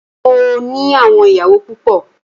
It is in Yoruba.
Mó ní àwọn ìyàwó púpọ.